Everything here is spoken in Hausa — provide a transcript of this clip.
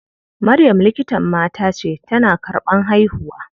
Maryam likitan mata ce, tana karɓan haihuwa.